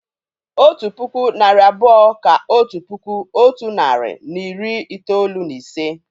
Otu puku, narị abụọ kà otu puku otu nari na iri itoolu na ise